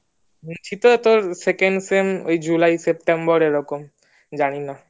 সে তো তোর second sem July lang:EngSeptemberlang:Eng এরকম জানি না